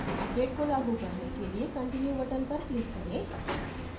update को लागू करने के लिए continue button पर click करें